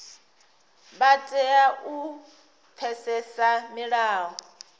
vha tea u pfesesa milayo